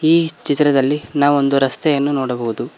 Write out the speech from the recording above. ಈ ಚಿತ್ರದಲ್ಲಿ ನಾವೊಂದು ರಸ್ತೆಯನ್ನು ನೋಡಬಹುದು.